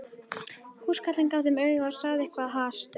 Húskarlinn gaf þeim auga og sagði eitthvað hastur.